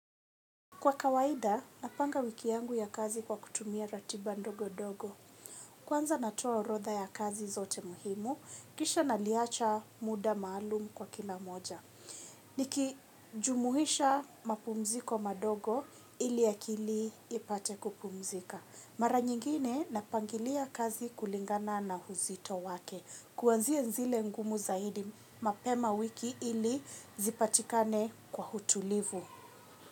Kwa kawaida, napanga wiki yangu ya kazi kwa kutumia ratiba ndogo ndogo. Kwanza natua orodha ya kazi zote muhimu, kisha naliacha mda maalumu kwa kila moja. Nikijumuhisha mapumziko madogo ili ya akili ipate kupumzika. Mara nyingine napangilia kazi kulingana na uzito wake. Kuanzia zile ngumu zaidi mapema wiki ili zipatikane kwa utulivu.